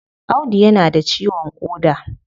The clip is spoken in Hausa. Audu ya na da ciwon koda